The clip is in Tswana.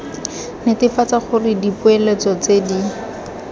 netefatsa gore dipoeletso tse di